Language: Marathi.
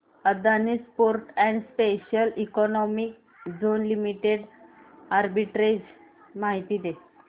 Adani ports and special economic zone limited arbitrage माहिती दे